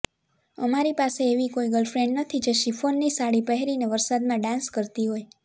અમારી પાસે એવી કોઈ ગર્લફ્રેંડ નથી જે શિફોનની સાડી પહેરીને વરસાદમાં ડાન્સ કરતી હોય